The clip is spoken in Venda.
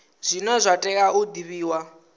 zwine zwa tea u divhiwa